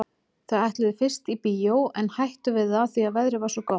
Þau ætluðu fyrst í bíó en hættu við það því að veðrið var svo gott.